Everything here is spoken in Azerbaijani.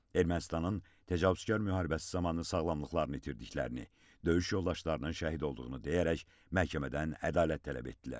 Ermənistanın təcavüzkar müharibəsi zamanı sağlamlıqlarını itirdiklərini, döyüş yoldaşlarının şəhid olduğunu deyərək məhkəmədən ədalət tələb etdilər.